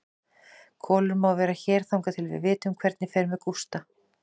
Kolur má vera hér þangað til við vitum hvernig fer með Gústa.